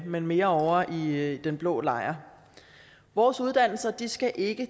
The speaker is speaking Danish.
men mere ovre i den blå lejr vores uddannelser skal ikke